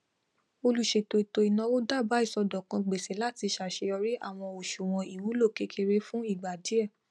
olùṣètò ètò ináwó dábà iṣọdọkan gbèsè láti ṣàṣeyọrí àwọn ọṣùwọn ìwúlò kékeré fún ìgbà díẹ